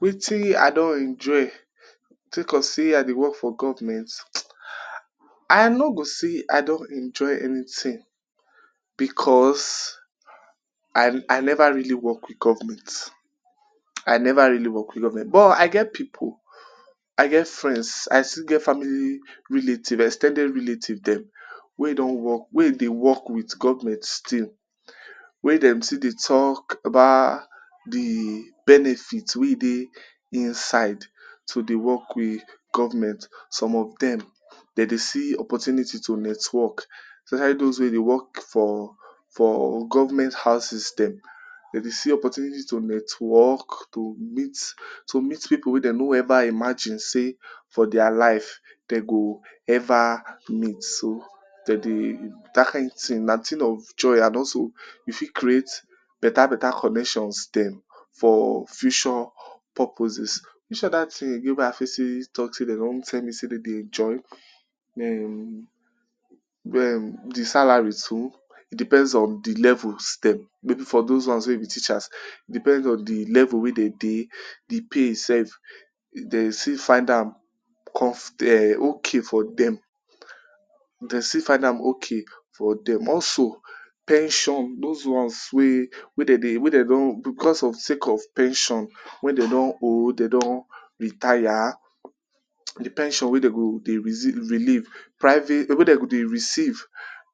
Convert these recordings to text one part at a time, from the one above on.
Wetin i don enjoy sake of sey I dey work for government. I no go say I don enjoy anything because I I never really work with government. I never really work with government. But I get pipu, I get friends, I still get family relative, ex ten ded relatives dem, wey don work, wey e dey work with government still. Wey dem still dey talk about the benefits wey e dey insight, to dey work with government. Some of dem, de dey see opportunity to network, especially dos wey dey work for for government houses dem. De dey see opportunity to network, to meet to meet pipu wey they no ever imagine sey for their life, de go ever meet. So, de dey dat kind thing, na thing of joy, and also, you fit create better better connections dem for future purposes. Which oda things again wey i fit still talk sey de don rell me sey de dey enjoy? um Den the salary dem. E depends on the levels dem, maybe for dos ones wey be teachers, e depends on the level wey de dey. The pay self, de still find am come for um okay for dem. De still find am okay for dem. Also, pension. Dos ones wey wey de dey wey de on becos of sake of sey pension wey de don old, de don retire. The pension wey de go de relief private wey de go dey receive,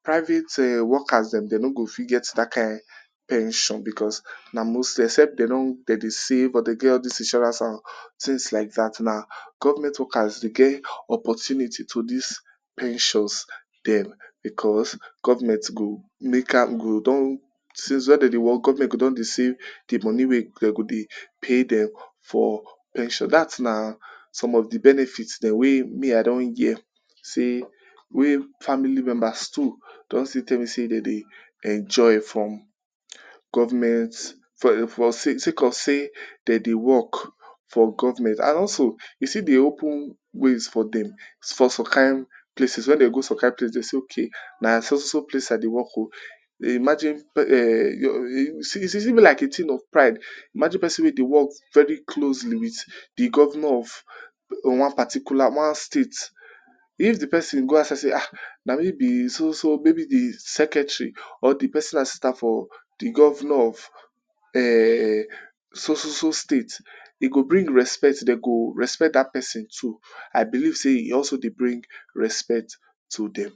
private workers dem de no go fit get dat kind pension becos na mostly except de no de dey save or de get all dis insurance. And things like dat na government workers dey get opportunity to des pensions dem, becos government go make am go don, since wen de dey work, government go don dey save the money wey de go dey pay dem for pension. So, dat na some of the benefits dem wey me i don hear sey wey family members too don still tell me say de dey enjoy from government, for for sake of sey, de dey work for government. And also, e still dey open ways for dem, for so kind places, wen they go some kind places, they say ok, na so so so place i dey work oh. They imagine um is even like a thing of pride, imagine pesin wey dey work very closely with the governor of one particular, one state. If the pesin go out say, ah, na me be so so, maybe the secretary or the pesonal assistant for the governor of um so so so state, e go bring respect. De go respect dat pesin too. I believe sey, e also dey bring respect to dem.